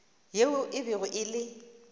yeo e bego e le